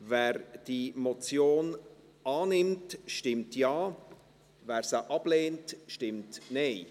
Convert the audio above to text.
Wer diese Motion annimmt, stimmt Ja, wer diese ablehnt, stimmt Nein.